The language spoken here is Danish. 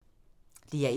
DR1